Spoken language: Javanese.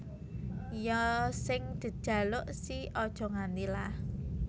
Ya sing dejaluk si Aja Nganti lah